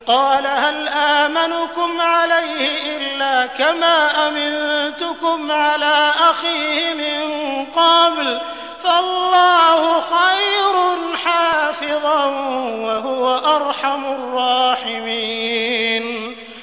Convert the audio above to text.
قَالَ هَلْ آمَنُكُمْ عَلَيْهِ إِلَّا كَمَا أَمِنتُكُمْ عَلَىٰ أَخِيهِ مِن قَبْلُ ۖ فَاللَّهُ خَيْرٌ حَافِظًا ۖ وَهُوَ أَرْحَمُ الرَّاحِمِينَ